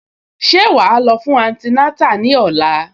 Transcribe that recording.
Ṣé wàá lọ fún antinátà ní òla?